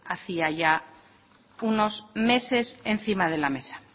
hacía ya unos meses encima de la mesa